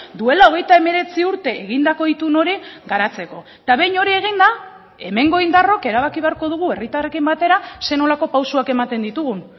duela hogeita hemeretzi urte egindako itun hori garatzeko eta behin hori eginda hemengo indarrok erabaki beharko dugu herritarrekin batera zer nolako pausuak ematen ditugun